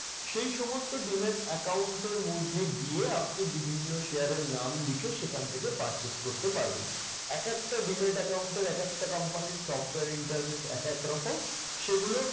সেই সমস্ত demat account এর মধ্যে গিয়ে আপনি বিভিন্ন share এর নাম লিখে সেখান থেকে purchase করতে পারবেন। একেকটা demat account এর একেকটা company র software interface একেক রকম। সেইগুলো